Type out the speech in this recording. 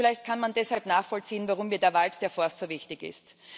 Vielleicht kann man deshalb nachvollziehen, warum mir der Wald der Forst so wichtig ist.